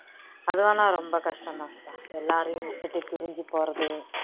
அது வேணா ரொம்ப கஷ்டம் தான்பா எல்லாரையும் விட்டுட்டு பிரிஞ்சு போறது